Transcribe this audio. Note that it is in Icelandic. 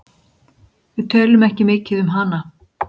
Við tölum ekki mikið um hana.